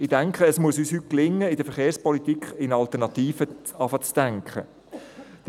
– Ich denke, es muss uns heute gelingen, in der Verkehrspolitik, in Alternativen zu denken beginnen.